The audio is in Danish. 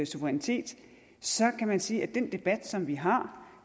suverænitet så kan man sige at den debat som vi har